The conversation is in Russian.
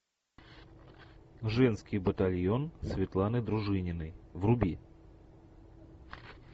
женский батальон светланы дружининой вруби